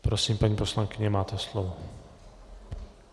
Prosím, paní poslankyně, máte slovo.